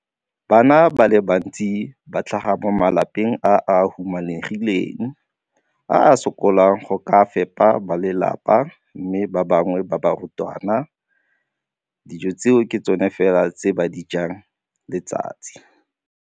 Bana ba le bantsi ba tlhaga mo malapeng a a humanegileng a a sokolang go ka fepa ba lelapa mme ba bangwe ba barutwana, dijo tseo ke tsona fela tse ba di jang ka letsatsi.